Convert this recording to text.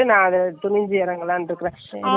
ஓடிக்குமே அதான் நானும் யோசிக்குறேன்.